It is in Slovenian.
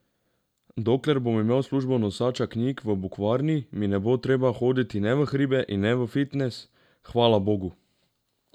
Dokler bom imel službo nosača knjig v bukvarni, mi ne bo treba hoditi ne v hribe in ne v fitnes, hvala bogu!